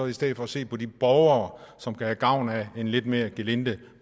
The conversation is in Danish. i stedet for se på de borgere som kan have gavn af en lidt mere gelinde